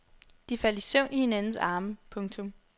De faldt i søvn i hinandens arme. punktum